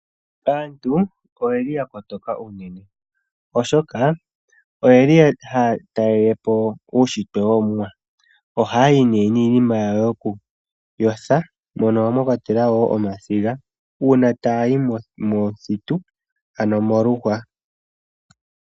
Aantu oyeli yakotoka unene, oshoka oyeli haya talelepo uushitwe yomwa. Ohaya yi niinima yawo yoku yothwa mono mwakwatelwa omasiga una taya yi momuthitu.